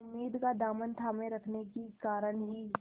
उम्मीद का दामन थामे रखने के कारण ही